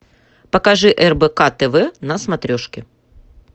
покажи рбк тв на смотрешке